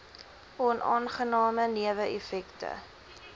onaangename newe effekte